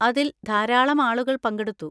അതിൽ ധാരാളം ആളുകൾ പങ്കെടുത്തു.